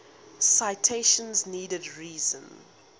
citation needed reason